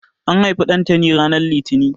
An haifi Ɗantani ranar Litini.